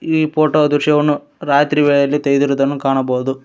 ಈ ಫೋಟೋ ದೃಶ್ಯವನ್ನು ರಾತ್ರಿ ವೇಳೆಯಲ್ಲಿ ತೆಗೆದಿರುವುದನ್ನು ಕಾಣಬಹುದು.